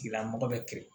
Tigila mɔgɔ bɛ kin